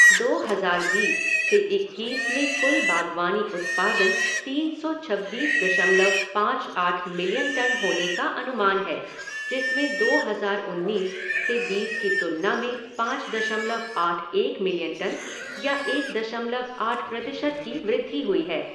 दो हज़ार बीस से इक्कीस में कुल बागवानी उत्पादन तीन सौ छब्बीस दशमलव पाँच आठ मिलियन टन होने का अनुमान है जिसमें दो हज़ार उन्नीस से बीस की तुलना में पाँच दशमलव आठ एक मिलियन टन या एक दशमलव आठ प्रतिशत की वृद्धि हुई है।